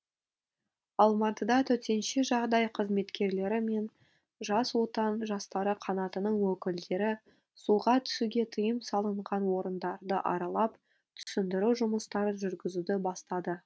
алматыда төтенше жағдай қызметкерлері мен жас отан жастары қанатының өкілдері суға түсуге тыйым салынған орындарды аралап түсіндіру жұмыстарын жүргізуді бастады